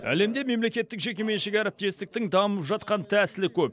әлемде мемлекеттік жекеменшік әріптестіктің дамып жатқан тәсілі көп